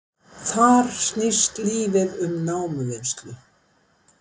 Þar snýst lífið um námuvinnslu